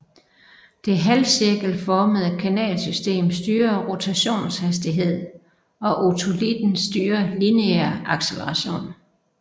Det halvcirkelformede kanalsystem styrer rotationshastighed og otolitten styrer lineær acceleration